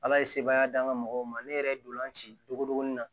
Ala ye sebaya d'an ka mɔgɔw ma ne yɛrɛ ye ntolan ci dogodogoni na